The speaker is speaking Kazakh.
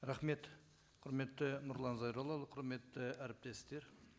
рахмет құрметті нұрлан зайроллаұлы құрметті әріптестер